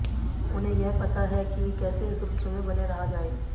उन्हें यह पता है कि कैसे सुर्खियों में बने रहा जाए